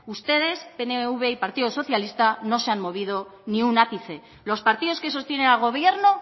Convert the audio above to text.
ustedes pnv y partido socialista no se han movido ni un ápice los partidos que sostienen al gobierno